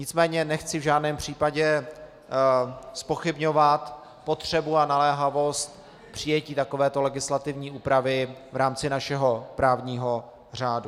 Nicméně nechci v žádném případě zpochybňovat potřebu a naléhavost přijetí takovéto legislativní úpravy v rámci našeho právního řádu.